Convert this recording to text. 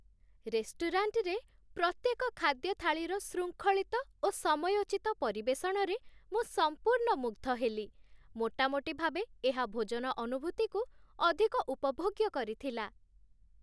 ରେଷ୍ଟୁରାଣ୍ଟରେ, ପ୍ରତ୍ୟେକ ଖାଦ୍ୟ ଥାଳିର ଶୃଙ୍ଖଳିତ ଓ ସମୟୋଚିତ ପରିବେଷଣରେ ମୁଁ ସମ୍ପୁର୍ଣ୍ଣ ମୁଗ୍ଧ ହେଲି, ମୋଟାମୋଟି ଭାବେ ଏହା ଭୋଜନ ଅନୁଭୂତିକୁ ଅଧିକ ଉପଭୋଗ୍ୟ କରିଥିଲା।